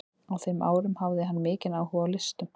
Á þeim árum hafði hann mikinn áhuga á listum.